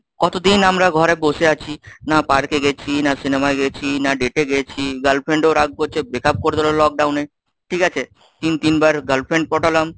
কতদিন আমরা ঘরে বসে আছি, না park গেছি, না cinema য় গেছি, না date এ গেছি, girlfriend ও রাগ করছে, breakup করে দিল lockdown এ ঠিক আছে তিন তিনবার girlfriend পটালাম,